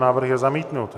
Návrh je zamítnut.